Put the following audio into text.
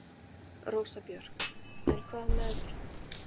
Rósa Björk: En hvað með.